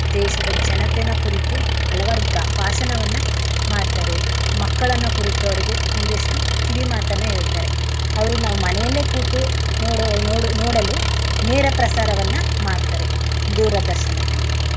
ದೇಶದ ಜನತೆನ ಕುರಿತು ಅಲವಾರು ಬ್ರ~ ಭಾಷಣವನ್ನಮಾಡ್ತಾರೆ. ಮಕ್ಕಳನ್ನ ಕುರಿತು ಅವ್ರಿಗೆ ಒಂದಿಷ್ಟು ಕಿವಿಮಾತನ್ನ ಹೇಳ್ತಾರೆ. ಅವ್ರೂ ನಾವ್ ಮನೇಲೇ ಕೂತು ನೋಡು~ ನೋಡಲು ನೇರಪ್ರಸಾರವನ್ನ ಮಾಡ್ತಾರೆ ದೂರದರ್ಶನದಲ್ಲಿ.